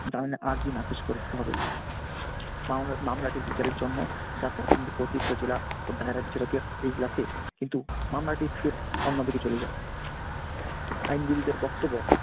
জামিনের আর্জি নাকচ করে দিতে হবে। মাও মামলাটা বিচারের জন্য যা প্রথম থেকে অতিরিক্ত জেরা ও direct যেটাকে এজলাসে কিন্তু মামলাটি ফের অন্যদিকে চলে যায়। আইনজীবীদের বক্তব্য